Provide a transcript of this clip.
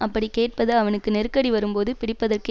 அப்படிக் கேட்பது அவனுக்கு நெருக்கடி வரும்போது பிடிப்பதற்கு